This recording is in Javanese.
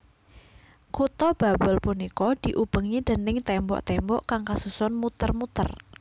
Kutha Babel punika diubengi déning tembok tembok kang kasusun muter muter